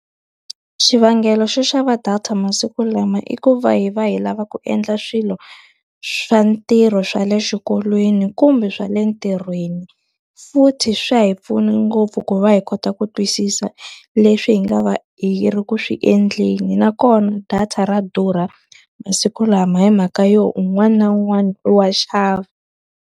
Xivangelo xo xava data masiku lama i ku va hi va hi lava ku endla swilo swa ntirho swa le xikolweni, kumbe swa le ntirhweni. Futhi swa hi pfuna ngopfu ku va hi kota ku twisisa leswi hi nga va hi ri ku swi endleni. Nakona data ra durha masiku lama hi mhaka yo un'wana na un'wana i wa xava.